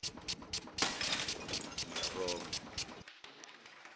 meromo